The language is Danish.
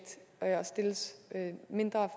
og stilles mindre